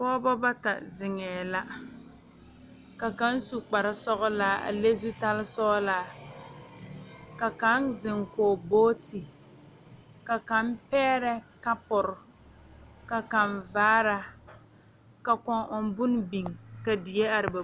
Pɔgeba bata zeŋe la ka kaŋ su kpare sɔglaa a le zutal sɔglaa ka kaŋ zeŋ kɔŋ boɔti ka kaŋ pɛɛre kapure ka kaŋ vaare ka kõɔ ɔɔ bonne biŋ ka die are ba puo.